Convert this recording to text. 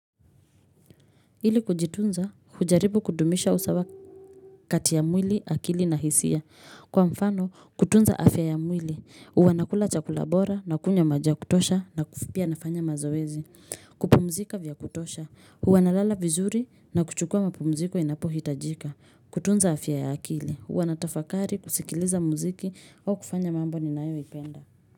Ili kujitunza, kujaribu kudumisha usawa kati ya mwili, akili na hisia. Kwa mfano, kutunza afya ya mwili. Wanakula chakula bora na kunywa maji ya kutosha napia anafanya mazoezi. Kupumzika vya kutosha. Wanalala vizuri na kuchukua mapumziko inapohitajika. Kutunza afya ya akili. Wanatafakari kusikiliza mziki au kufanya mambo ninayoyapenda.